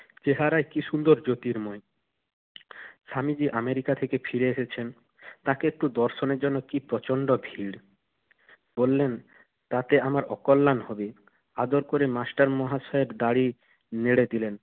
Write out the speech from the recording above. চেহারা কি সুন্দর জ্যোতির্ময়! স্বামীজি আমেরিকা থেকে ফিরে এসেছেন, তাকে একটু দর্শনের জন্য কি প্রচণ্ড ভীর। বললেন, তাতে আমার অকল্যাণ হবে। আদর করে মাস্টার মহাশয়ের গাড়ি নেড়ে দিলেন।